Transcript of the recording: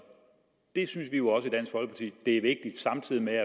vi synes jo at det er vigtigt samtidig med